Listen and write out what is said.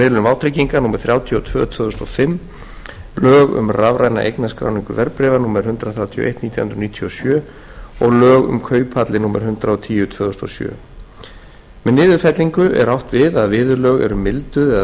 miðlun vátrygginga númer þrjátíu og tvö tvö þúsund og fimm lög um rafræna eignarskráningu verðbréfa númer hundrað þrjátíu og eitt nítján hundruð níutíu og sjö og lög um kauphallir númer hundrað og tíu tvö þúsund og sjö með niðurfellingu er átt við að viðurlög eru milduð eða